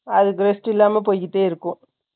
அது rest இல்லாம, போய்க்கிட்டே இருக்கும்.